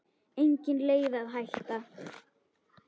Engin leið að hætta.